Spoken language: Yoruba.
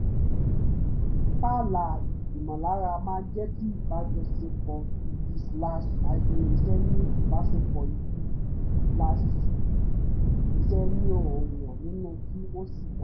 pààlà ìmọ̀lára máa jẹ́ kí ìbájọsepọ̀ ibi slash hyphen iṣẹ́ ní ìbásepọ̀ ibi slash iṣẹ́ ní ọ̀wọ̀ nínú kí ó sì dá